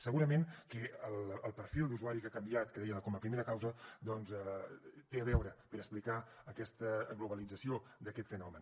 segurament que el perfil d’usuari que ha canviat que deia com a primera causa doncs té a veure per explicar aquesta globalització d’aquest fenomen